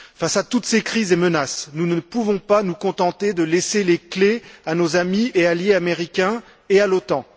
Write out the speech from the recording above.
Face à toutes ces crises et menaces, nous ne pouvons pas nous contenter de laisser les clés à nos amis et alliés américains et à l'OTAN.